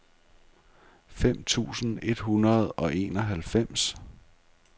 fem tusind et hundrede og enoghalvfems